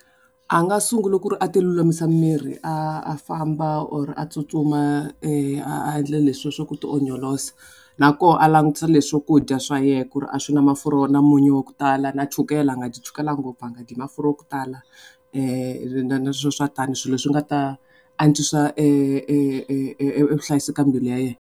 A nga sungula ku ri a ti lulamisa miri a famba or a tsutsuma a endle leswa ku ti na ku a langutisa swakudya swa yena ku ri a swi na mafurha na munyu wa ku tala na chukele a nga dyi chukele ngopfu, a nga dyi mafurha ya ku tala na swo swa tani swilo swi nga ta antswisa vuhlayiseka ka mbilu ya yena.